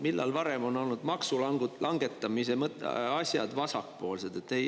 Millal varem on olnud maksulangetamise asjad vasakpoolsed?